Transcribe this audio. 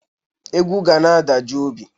Egwu ga na-adajụ obi